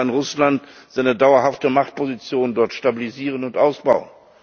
Wie weit kann Russland seine dauerhafte Machtposition dort stabilisieren und ausbauen?